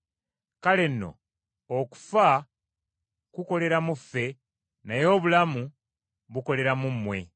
Kale nno okufa kukolera mu ffe, naye obulamu bukolera mu mmwe.